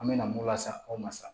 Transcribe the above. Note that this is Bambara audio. An bɛ na mun la sa aw ma sa